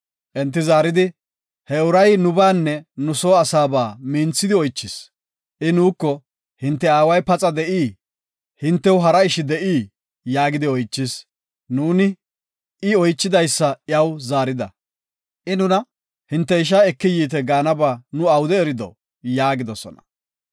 Enti zaaridi, “He uray nubaanne nu soo asaaba minthidi oychis. I nuuko, ‘Hinte aaway paxa de7ii? Hintew hara ishi de7ii?’ yaagidi oychis. Nuuni I oychidaysa iyaw zaarida. I nuna, ‘Hinte isha eki yiite’ gaanaba nu awude erido?” yaagidosona.